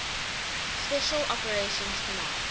special operations command